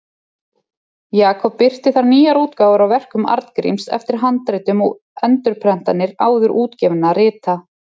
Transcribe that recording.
Jakob birti þar nýjar útgáfur á verkum Arngríms eftir handritum og endurprentanir áður útgefinna rita.